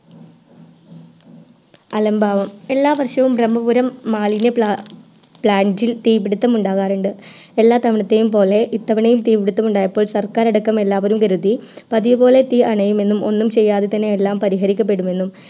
അലംഭാവം എല്ലാം വർഷം ബ്രഹ്മപുരം മാലിന്യം plant തീ പിടിത്തം ഉണ്ടാകാറുണ്ട് എല്ലാ തവണത്തെയുംപോലെ ഇത്തവണയും തീ പിടിത്തം ഉണ്ടായപ്പോൾ സർക്കാരടക്കം എല്ലാപേരും കരുതി പതിവ് പോലെ തീ അണയുമെന്നും ഒന്നും ചെയ്യാതെ തന്നെ എല്ലാം പരിഹരിക്കപ്പെടുമെന്നും